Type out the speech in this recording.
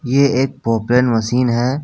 ये एक पॉपरेन मशीन है।